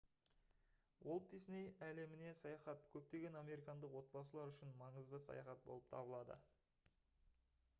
уолт дисней әлеміне саяхат көптеген американдық отбасылар үшін маңызды саяхат болып табылады